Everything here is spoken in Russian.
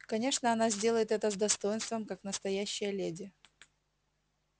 конечно она сделает это с достоинством как настоящая леди